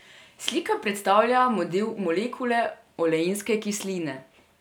Slika predstavlja model molekule oleinske kisline.